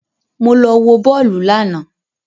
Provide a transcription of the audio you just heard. Mo lọ wò bọ́ọ́lù lànà